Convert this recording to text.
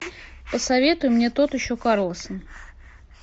посоветуй мне тот еще карлсон